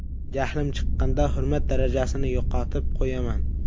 Jahlim chiqqanda hurmat darajasini yo‘qotib qo‘yaman.